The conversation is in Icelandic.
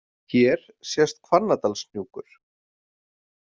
Hér sést Hvannadalshnjúkur.